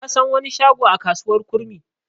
Na san wani shago a kasuwar kurmi.